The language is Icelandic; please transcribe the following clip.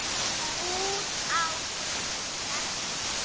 Út á hvað gengur starfið?